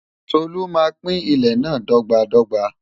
Tolú máa pín ilẹ̀ náà dọ́gba dọ́gba.